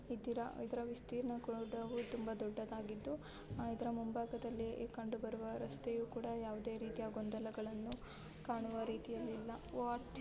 ಇದ್ದೀರಾ ಇದರ ವಿಸ್ತಿರ್ನ ಕೂಡ ತುಂಬಾ ದೊಡ್ಡದಾಗಿದು ಇದರ ಮುಂಭಾಗದಲ್ಲಿ ಕಂಡು ಬರುವ ರಸ್ತೆಯು ಕೂಡ ಯಾವುದೇ ರೀತಿಯ ಗೊಂದಲಗಳನ್ನು ಕಾಣುವ ರೀತಿಯಲ್ಲಿ ಇಲ್ಲ ವಾಟ --